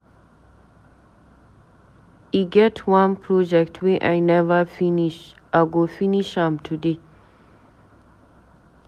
E get wan project wey I never finish, I go finish am today.